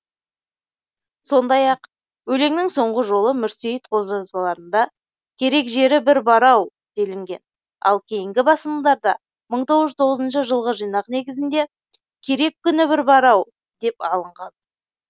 сондай ақ өлеңнің соңғы жолы мүрсейіт қолжазбаларында керек жері бір бар ау делінген ал кейінгі басылымдарда мыі тоғыз жүз тоғызыншы жылғы жинақ негізінде керек күні бір бар ау деп алынған